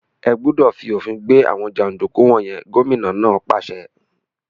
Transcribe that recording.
Ẹ́ gbúdọ̀ fi òfin gbé àwọn jàǹdùkú wọ̀n yẹn! Gómìnà náà pàṣẹ.